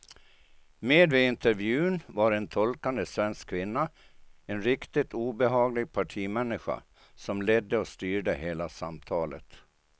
Med vid intervjun var en tolkande svensk kvinna, en riktigt obehaglig partimänniska som ledde och styrde hela samtalet.